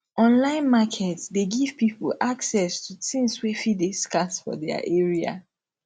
online market de give pipo access to things wey fit de scarce for their area